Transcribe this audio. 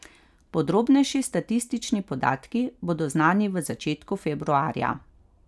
Podrobnejši statistični podatki bodo znani v začetku februarja.